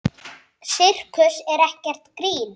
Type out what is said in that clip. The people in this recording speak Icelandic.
Sirkus er ekkert grín.